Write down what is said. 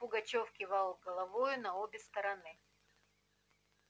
пугачёв кивал головою на обе стороны